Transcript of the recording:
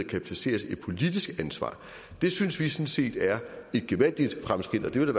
kan placeres et politisk ansvar det synes vi sådan set er et gevaldigt fremskridt og det vil